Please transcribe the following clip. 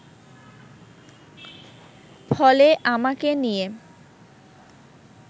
ফলে আমাকে নিয়ে